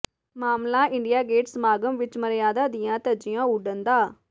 ਮਾਮਲਾ India Gate ਸਮਾਗਮ ਵਿੱਚ ਮਰਿਆਦਾ ਦੀਆਂ ਧੱਜੀਆਂ ਉੱਡਣ ਦਾ